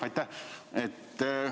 Aitäh!